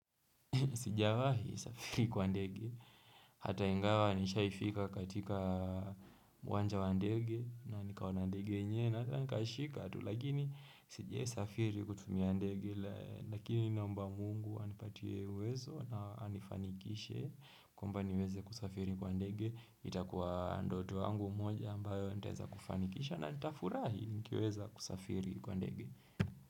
Sijawahi safiri kwa ndege, hata ingawa nishaifika katika uwanja wa ndege na nikaona ndege yenye na hata nikashika, lakini sijawaisafiri kutumia ndege, lakini naomba mungu anipatie uwezo na anifanikishe, kwambani weze kusafiri kwa ndege, itakuwa ndoto yangu moja ambayo nitaweza kufanikisha na nitafurahi nikiweza kusafiri kwa ndege.